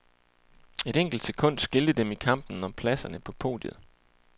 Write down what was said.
Et enkelt sekund skilte dem i kampen om pladserne på podiet.